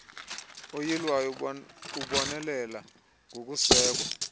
uyilwayo ubonelela ngokusekwa